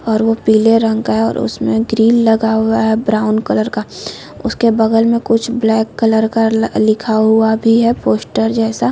और वो पीले रंग का है और उसमें ग्रिल लगा हुआ है ब्राउन कलर का उसके बगल में कुछ ब्लैक कलर का लिखा हुआ है पोस्टर जैसा --